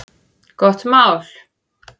Gott mál!